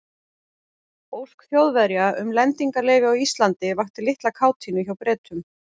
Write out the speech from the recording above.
Ósk Þjóðverja um lendingarleyfi á Íslandi vakti litla kátínu hjá Bretum.